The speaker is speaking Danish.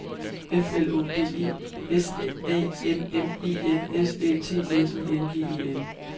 F L Å D E S A M M E N S Æ T N I N G E N